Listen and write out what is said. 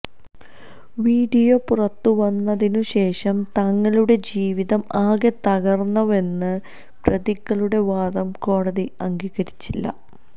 video പുറത്തുവന്നതിനുശേഷം തങ്ങളുടെ ജീവിതം ആകെ തകർന്നവെന്ന പ്രതികളുടെ വാദം കോടതി അംഗീകരിച്ചില്ല